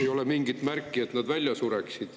Ei ole mingit märki, et nad välja sureksid.